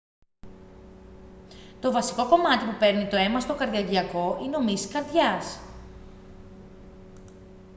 το βασικό κομμάτι που παίρνει το αίμα στο καρδιαγγειακό είναι ο μυς της καρδιάς